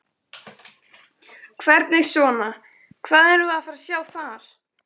Hvernig svona, hvað erum við að fara sjá þar?